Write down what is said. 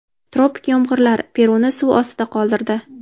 Tropik yomg‘irlar Peruni suv ostida qoldirdi.